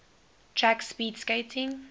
track speed skating